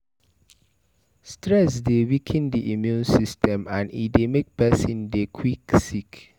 Stress dey weaken di immune system and e dey make person dey quick sick